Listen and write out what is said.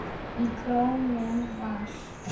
Í kórnum var